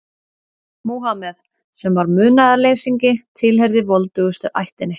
Múhameð, sem var munaðarleysingi, tilheyrði voldugustu ættinni.